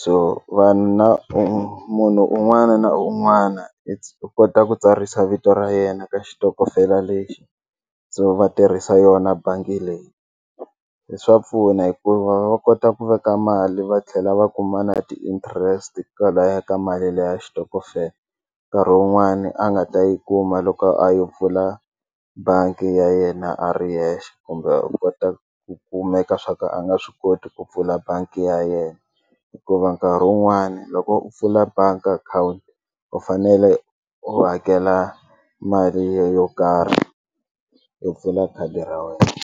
so vanhu na munhu un'wana na un'wana u kota ku tsarisa vito ra yena ka xitokofela lexi so va tirhisa yona bangi leyi hi swa pfuna hikuva va kota ku veka mali va tlhela va kuma na ti-interest kwalaya ka mali leya xitokofela nkarhi wun'wani a nga ta yi kuma loko a yi pfula bangi ya yena a ri yexe kumbe u kota ku kumeka swa ka a nga swi koti ku pfula bangi ya yena hikuva nkarhi wun'wani loko u pfula bangi akhawunti u fanele u hakela mali yo karhi yo pfula khadi ra wena.